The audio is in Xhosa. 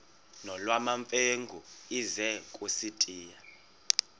nolwamamfengu ize kusitiya